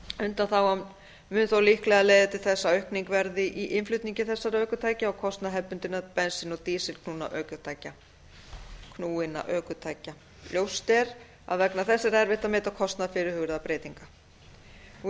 undanþágan mun þó líklega leiða til þess að aukning verði í innflutningi þessara ökutækja á kostnað hefðbundinna bensín og dísilknúinna ökutækja ljóst er að vegna þessa er erfitt að meta kostnað fyrirhugaðra breytinga í